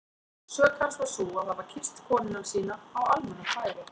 Sök hans var sú að hafa kysst konuna sína á almannafæri!